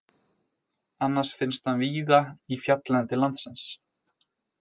Annars finnst hann víða í fjalllendi landsins.